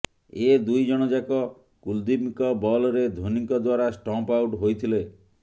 ଏ ଦୁଇ ଜଣ ଯାକ କୁଲଦୀପଙ୍କ ବଲ୍ରେ ଧୋନୀଙ୍କ ଦ୍ୱାରା ଷ୍ଟମ୍ପ୍ ଆଉଟ୍ ହୋଇଥିଲେ